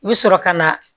I bɛ sɔrɔ ka na